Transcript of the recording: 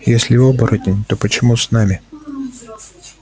если оборотень то почему с нами